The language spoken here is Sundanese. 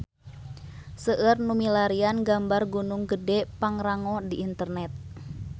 Seueur nu milarian gambar Gunung Gedhe Pangrango di internet